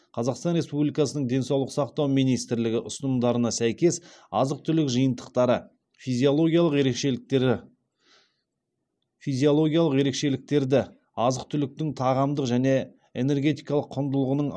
қазақстан республикасының денсаулық сақтау министрлігі ұсынымдарына сәйкес азық түлік жиынтықтары физиологиялық ерекшеліктері физиологиялық ерекшеліктерді азық түліктің тағамдық және энергетикалық құндылығының